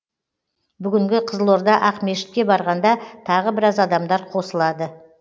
бүгінгі қызылорда ақмешітке барғанда тағы біраз адамдар қосылады